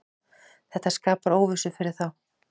Þetta skapar óvissu fyrir þá.